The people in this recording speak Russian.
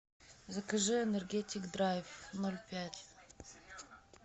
закажи энергетик драйв ноль пять